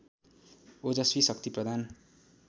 ओजस्वी शक्ति प्रदान